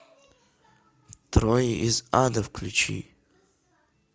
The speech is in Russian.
трое из ада включи